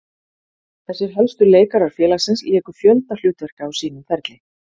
Þessir helstu leikarar félagsins léku fjölda hlutverka á sínum ferli.